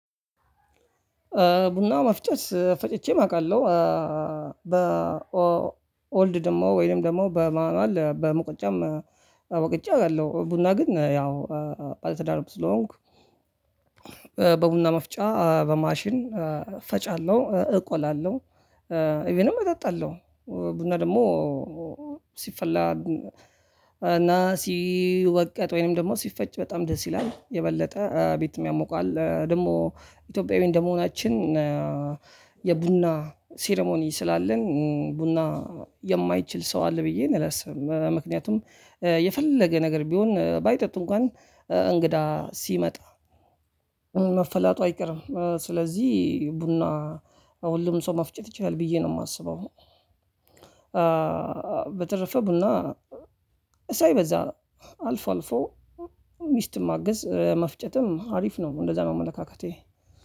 ቡና መፍጨት ፈጭቼም አውቃለሁ። በኦልድ ደግሞ ወይንም ደግሞ በማንዋል በሙቀጫም ወቅጬ አውቃለሁ። ቡና ግን ያው ባለትዳርም ስለሆንኩ በቡና መፍጫ በማሽን ፈጫለሁ እቆላለሁ እቪንም እጠጣለው። ቡና ደግሞ ሲፈላ እና ሲወቀጥ ወይም ደግሞ ሲፈጭ በጣም ደስ ይላል። የበለጠ ቤቱን ያሞቃል ደግሞ እትዮጲያዊ እንደመሆናችን የቡና ሴሪሞኒ ስላለን ቡና የማይችል ሰው አለ ብዬ አላስብም። ምክንያቱም የፈለገ ነገር ቢሆን ባይጠጡ እንኳን እንግዳ ሲመጣ መፈላቱ አይቀርም። ስለዚህ ቡና ለሁሉም ሰው መፍጨት ይችላል ብዬ ነው የማስበው። በተረፈ ቡና ሳይበዛ አልፎ አልፎ ሚስትም ማአገዝ መፍጨትም አሪፍ ነው። እንደዛ ነው አመለካከቴ።